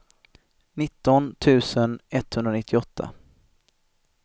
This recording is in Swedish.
nitton tusen etthundranittioåtta